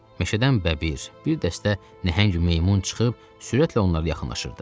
Meşədən bəbir, bir dəstə nəhəng meymun çıxıb sürətlə onlara yaxınlaşırdı.